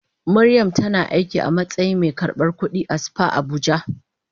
Mariam tana aiki a matsayin mai karbar kudi a spa Abuja.